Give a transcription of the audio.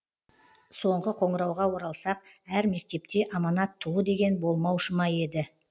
соңғы қоңырауға оралсақ әр мектепте аманат туы деген болмаушы меді